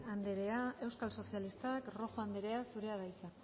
anderea euskal sozialistak rojo anderea zurea da hitza